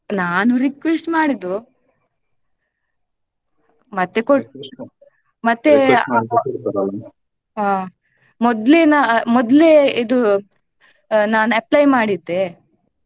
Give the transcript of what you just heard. ನಾನು request ಮಾಡಿದ್ದು ಮತ್ತೆ ಮತ್ತೆ ಹ ಮೊದ್ಲೇ ನಾ ಮೊದ್ಲೇ ಇದು ನಾನ್ apply ಮಾಡಿದ್ದೆ.